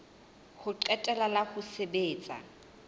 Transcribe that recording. ho qetela la ho sebetsa